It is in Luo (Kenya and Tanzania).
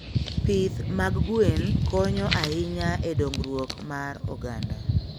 Pith mag gwen konyo ahinya e dongruok mar oganda.